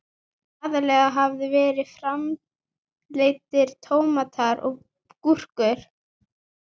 Aðallega hafa verið framleiddir tómatar og gúrkur.